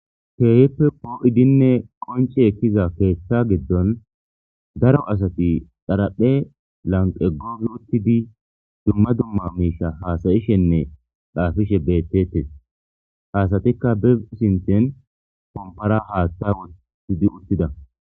keehippe poo7idinne qonce ekkiza keeththa giddon daro asati daraphe lanqe googi uttidi dumma dumma miisha haasayishenne xaafishe bettetes haasatikka bib sinten pompara haatta wotidi uttida